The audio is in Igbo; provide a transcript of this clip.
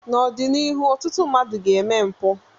n'ọdịnihu ọtụtụ mmadụ ga-eme mpụ